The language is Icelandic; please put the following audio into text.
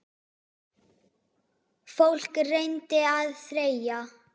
Fólk reyndi að þreyja.